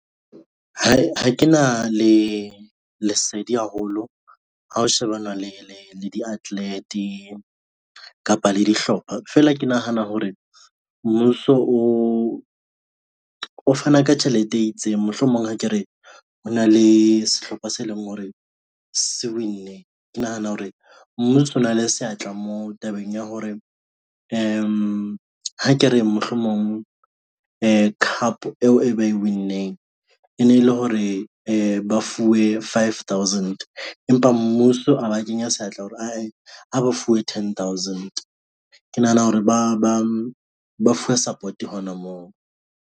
Ha ke na lesedi haholo ha ho shebana le diatlete kapa le dihlopha fela ke nahana hore mmuso o fana ka tjhelete e itseng. Mohlomong ha ke re ho na le sehlopha se leng hore se win-ne. Ke nahane hore mmuso o na le seatla moo tabeng ya hore ha ke re mohlomong cup eo e ba e win-eng e ne e le hore ba fuwe five thousand empa mmuso a ba kenya seatla hore ha ba fuwe ten thousand. Ke nahana hore ba fuwe support hona moo.